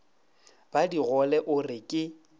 ba digole o re ke